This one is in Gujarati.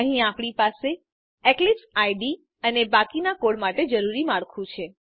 અહીં આપણી પાસે એક્લિપ્સ આઇડીઇ અને બાકીના કોડ માટે જરૂરી માળખું છે